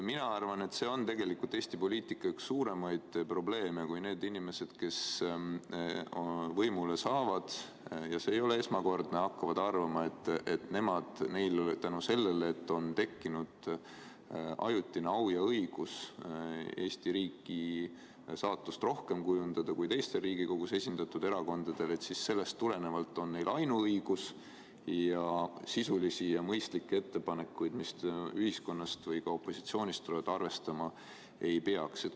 Mina arvan, et see on tegelikult Eesti poliitika üks suuremaid probleeme, kui need inimesed, kes võimule saavad – ja see ei ole esmakordselt nii –, hakkavad arvama, et neil on tänu sellele, et neil on tekkinud ajutine au ja õigus Eesti riigi saatust rohkem kujundada kui teistel Riigikogus esindatud erakondadel, selleks ainuõigus ning sisulisi ja mõistlikke ettepanekuid, mis ühiskonnast või opositsioonist tulevad, arvestama ei peaks.